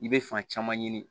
I bɛ fan caman ɲini